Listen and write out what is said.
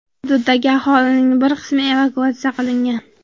Hududdagi aholining bir qismi evakuatsiya qilingan.